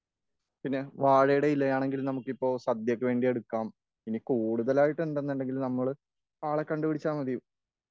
പിന്നെ വാഴയുടെ ഇലയാണെങ്കിൽ സദ്യക്ക് വേണ്ടിയെടുക്കാം.ഇനി കൂടുതലായിട്ടുണ്ടെന്നുണ്ടെങ്കിൽ നമ്മള് ആളെ കണ്ടു പിടിച്ചാൽ മതീ.